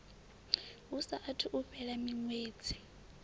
hu saathu u fhela miṅwedzi